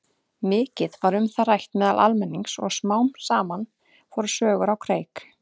Mikið var um það rætt meðal almennings og smám saman fóru sögur á kreik.